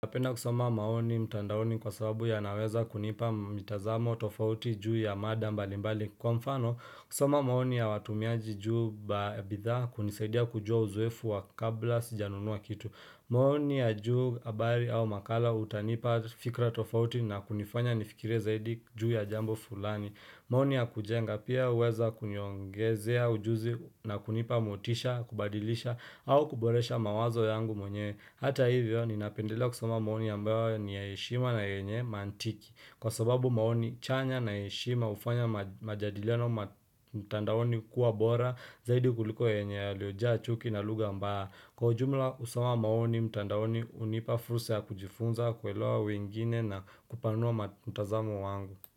Napenda kusoma maoni mtandaoni kwa sababu yanaweza kunipa mtazamo tofauti juu ya mada mbalimbali kwa nfano kusoma maoni ya watumiaji juu bidhaa kunisadia kujua uzoefu wa kabla sijanunua kitu maoni ya juu habari au makala utanipa fikra tofauti na kunifanya nifikire zaidi juu ya jambo fulani maoni ya kujenga pia huweza kuniongezea ujuzi na kunipa motisha, kubadilisha au kuboresha mawazo yangu mwenyewe Hata hivyo ninapendelea kusoma maoni ambayo ni ya heshima na yenye maantiki Kwa sababu maoni chanya na heshima hufanya majadiliano mtandaoni hukuwa bora Zaidi kuliko yenye yaliyojaa chuki na lugha ambayo Kwa ujumla kusoma maoni mtandaoni hunipa fursa ya kujifunza kuelewa wengine na kupanua mtazamo wangu.